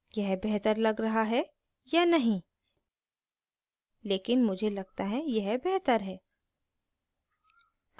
यह बेहतर लग रहा है या नहीं लेकिन मुझे लगता है यह बेहतर है